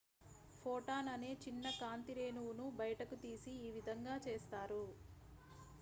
"""""""Photon""" అనే చిన్న కాంతి రేణువును బయటకు తీసి ఈ విధంగా చేస్తారు.""